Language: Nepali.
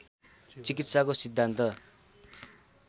चिकित्साको सिद्धान्त